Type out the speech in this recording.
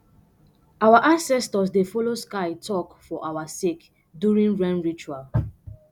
our ancestors dey follow sky talk for our sake during rain ritual